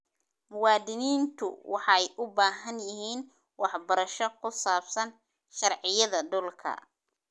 Muwaadiniintu waxay u baahan yihiin waxbarasho ku saabsan sharciyada dhulka.